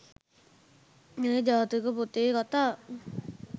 මේ ජාතක පොතේ කථා